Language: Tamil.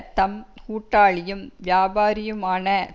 தம் கூட்டாளியும் வியாபாரியுமான